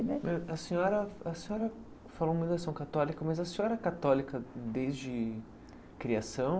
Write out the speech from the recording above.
A senhora a senhora católica, mas a senhora é católica desde criação?